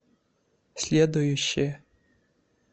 следующая